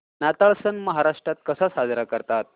नाताळ सण महाराष्ट्रात कसा साजरा करतात